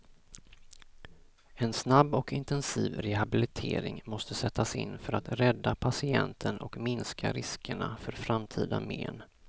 En snabb och intensiv rehabilitering måste sättas in för att rädda patienten och minska riskerna för framtida men.